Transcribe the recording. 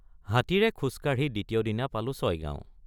হাতীৰে খোজকাঢ়ি দ্বিতীয় দিনা পালোঁ ছয়গাওঁ।